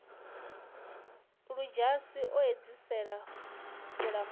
ludzhasi o edzisa u lamula